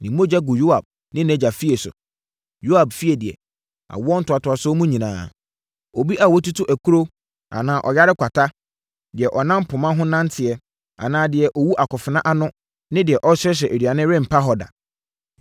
Ne mogya ngu Yoab ne nʼagya fie so! Yoab efie deɛ, awoɔ ntoatoasoɔ mu nyinaa, obi a watutu akuro anaa ɔyare kwata, deɛ ɔnam poma ho nanteɛ anaa deɛ ɔwu akofena ano ne deɛ ɔsrɛsrɛ aduane rempa hɔ da.”